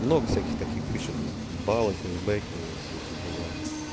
много всяких таких фишек баллы кэшбэк все эти дела